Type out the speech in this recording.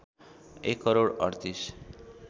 १ crore ३८